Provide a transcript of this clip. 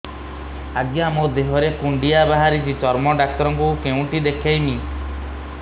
ଆଜ୍ଞା ମୋ ଦେହ ରେ କୁଣ୍ଡିଆ ବାହାରିଛି ଚର୍ମ ଡାକ୍ତର ଙ୍କୁ କେଉଁଠି ଦେଖେଇମି